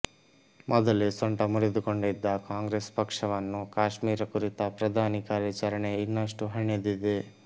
ಮೊದಲೇ ಸೊಂಟ ಮುರಿದುಕೊಂಡಿದ್ದ ಕಾಂಗ್ರೆಸ್ ಪಕ್ಷವನ್ನು ಕಾಶ್ಮೀರ ಕುರಿತ ಪ್ರಧಾನಿ ಕಾರ್ಯಾಚರಣೆ ಇನ್ನಷ್ಟು ಹಣಿದಿದೆ